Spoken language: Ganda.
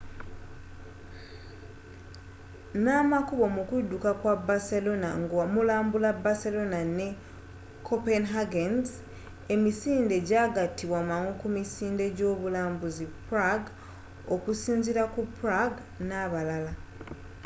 na makubo mukudduka kwa barcelona nga mulambula barcelona ne copenhagen's emisinde kyagatibwa mangu ku misinde egy'obulambuzi prague okusinziira ku prague n'abalala